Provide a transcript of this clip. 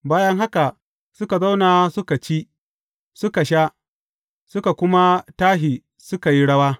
Bayan haka suka zauna suka ci, suka sha, suka kuma tashi suka yi rawa.